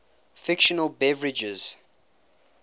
fictional beverages